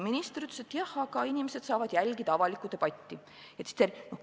Minister ütles, et jah, aga inimesed saavad jälgida avalikku debatti.